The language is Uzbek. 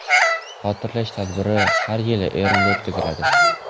Xotirlash tadbiri har yili Eronda o‘tkaziladi.